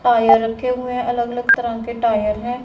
Tyre रखे हुए हैं अलग अलग तरह के टायर हैं।